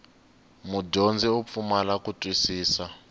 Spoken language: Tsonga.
mudyondzi u pfumala ku twisisa